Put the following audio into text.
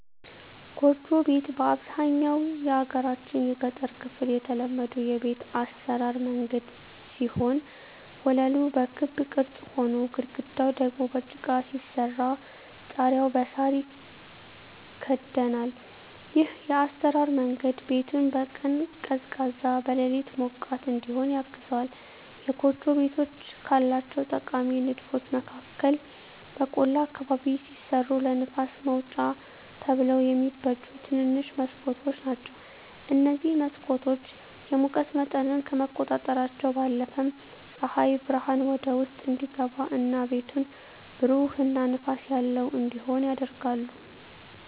ጎጆ ቤት በአብዛኛው የሀገራችን የገጠር ክፍል የተለመዱ የቤት አሰራር መንገድ ሲሆን ወለሉ በክብ ቅርጽ ሆኖ፣ ግድግዳው ደግሞ በጭቃ ሲሰራ ጣሪያው በሳር ይከደናል። ይህ የአሰራር መንገድ ቤቱን በቀን ቀዝቃዛ፣ በሌሊት ሞቃት እዲሆን ያግዘዋል። የጎጆ ቤቶች ካላቸው ጠቃሚ ንድፎች መካከል በቆላ አካባቢ ሲሰሩ ለንፋስ ማውጫ ተብለው የሚበጁ ትንንሽ መስኮቶች ናቸዉ። እነዚህ መስኮቶች የሙቀት መጠንን ከመቆጣጠራቸው ባለፈም ፀሐይ ብርሃን ወደ ውስጥ እንዲገባ እና ቤቱን ብሩህ እና ንፋስ ያለው እንዲሆን ያደርጋሉ።